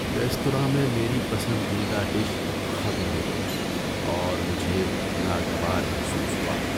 Restaurant میں میری پسندیدہ ڈش ختم ہو گئی اور مجھے ناگوار محسوس ہوا۔